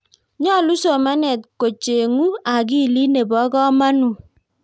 nyoluu somanet kochengu akili ne bo komonut.